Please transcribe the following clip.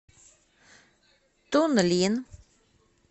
тунлин